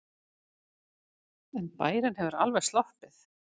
En bærinn hefur alveg sloppið.